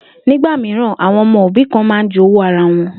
Nígbà mìíràn, àwo̩n o̩mo̩ òbí kan máa n jowú ara wo̩n